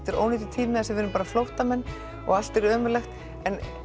er ónýtur tími þar sem við erum flóttamenn og allt er ömurlegt en